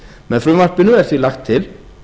með frumvarpinu er því lagt til